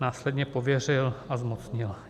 Následně pověřil a zmocnil.